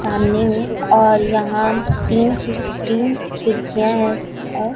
सामने में और यहां तीन ची तीन खिड़कियां हैं और--